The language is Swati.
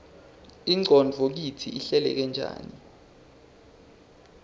ingqondvo kitsi ihleleke njani